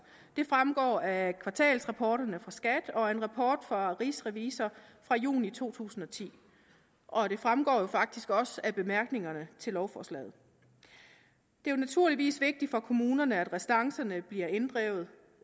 det fremgår af kvartalsrapporterne fra skat og af en rapport fra rigsrevisor fra juni to tusind og ti og det fremgår faktisk også af bemærkningerne til lovforslaget det er naturligvis vigtigt for kommunerne at restancerne bliver inddrevet